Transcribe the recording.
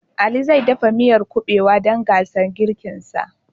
Ali zai dafa miyar Kuɓewa dan gasar girkinsa